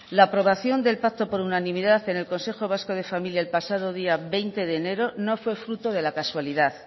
la aprobación del pacto por unanimidad en el consejo vasco de familia el pasado día veinte de enero no fue fruto de la casualidad